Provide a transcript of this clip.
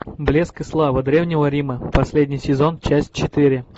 блеск и слава древнего рима последний сезон часть четыре